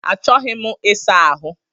Achọghị m isa ahụ